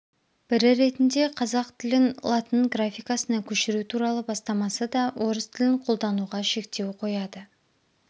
бірі ретінде қазақ тілін латын графикасына көшіру туралы бастамасы да орыс тілін қолдануға шектеу қояды